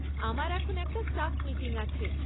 আমার এখন একটা স্টাফ মিটিং আছে।